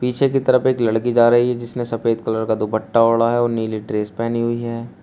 पीछे की तरफ एक लड़की जा रही है जिसने सफेद कलर का दुपट्टा ओढ़ा है और नीली ड्रेस पहनी हुई है।